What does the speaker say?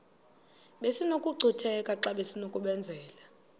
besinokucutheka xa besinokubenzela